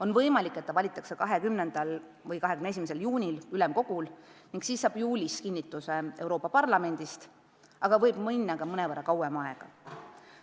On võimalik, et ta valitakse 20. või 21. juunil ülemkogul ning kinnitatakse juulis Euroopa Parlamendis ametisse, aga võib minna ka mõnevõrra kauem aega.